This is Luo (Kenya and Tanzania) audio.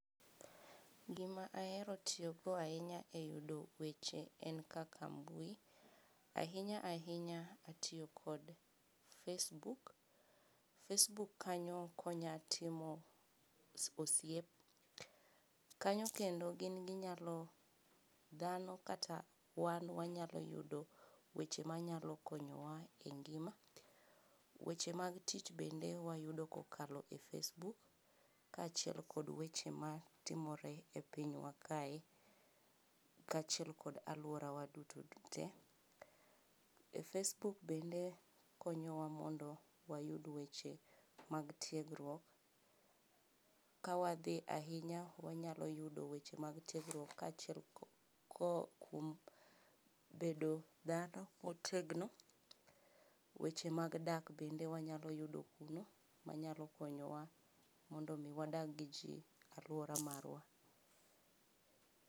Gima ahero tiyo go ahinya e yudo weche en kaka mbui, ahinya ahinya atiyo kod facebook, facebook kanyo okonya timo osiep kanyo kendo gin ginyalo dhano kata wan wanyalo yudo weche manyalo konyowa e ngima. Weche mag tich wayudo kokalo e face book kaachiel kod weche ma timore e pinywa kae kaachiel kod aluora wa duto te. E facebook bende konyowa mondo wayud weche mag tiegruok kawadhi ahinya wanyalo yudo weche mag tiegruok kaachiel kod bedo jago motegno weche mag dak bende wanyalo yudokuno manyalo konyowa mondo mi wadag gi kwe e aluora magwa